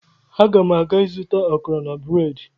Aga m aga ịzụta akara na breedị